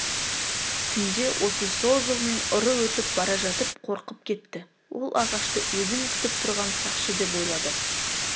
түнде осы сол жолмен ұры өтіп бара жатып қорқып кетті ол ағашты өзін күтіп тұрған сақшы деп ойлады